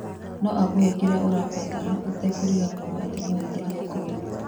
Noakũhe kĩrĩa ũrabatara ũtekũriganĩrwo atĩ noaingĩrie ngolu